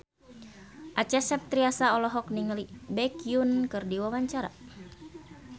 Acha Septriasa olohok ningali Baekhyun keur diwawancara